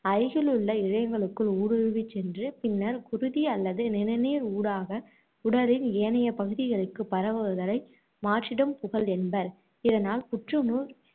அருகிலுள்ள இழையங்களுக்குள் ஊடுருவிச் சென்று பின்னர் குருதி அல்லது நிணநீர் ஊடாக உடலின் ஏனைய பகுதிகளுக்குப் பரவுதலை மாற்றிடம் புகல் என்பர். இதனால் புற்று நோய்